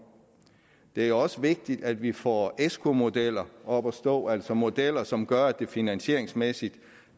det er også vigtigt at vi får esco modeller op at stå altså modeller som gør at det finansieringsmæssigt